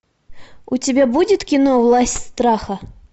у тебя будет кино власть страха